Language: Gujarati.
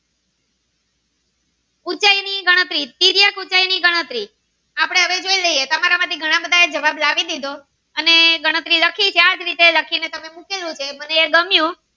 ની ગણતરી તિર્યક ઉંચાઈ ની ગણતરી આપડે હવે જોઈએ છે તમારા માંથી ઘણા બધા એ જવાબ લાવી દીધો અને ગણતરી લખી છે આજ રીતે લખી ને તમે મૂકી તે મને ગમ્યું